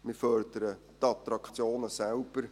Wir fördern die Attraktionen selbst.